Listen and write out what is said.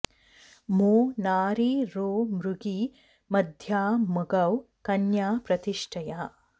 मो नारी रो मृगी मध्या मगौ कन्या प्रतिष्ठया